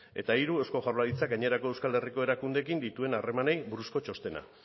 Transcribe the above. eta hiru eusko jaurlaritzak gainerako euskal herriko erakundeekin dituen harremanei buruzko txostena